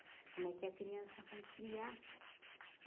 Como é que a criança vai criar?